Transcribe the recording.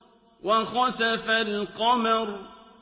وَخَسَفَ الْقَمَرُ